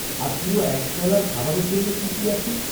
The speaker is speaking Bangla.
আর পুরো একবেলার খাবারের জন্য কী কী আছে?